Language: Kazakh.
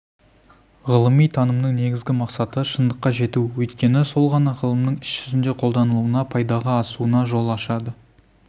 ғылыми танымның негізгі мақсаты шындыққа жету өйткені сол ғана ғылымның іс жүзінде қолданылуына пайдаға асуына жол ашады